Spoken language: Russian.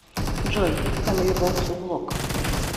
джой фэмили бокс влог